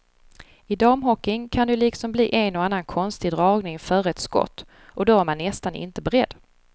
I damhockeyn kan det ju liksom bli en och annan konstig dragning före ett skott och då är man nästan inte beredd.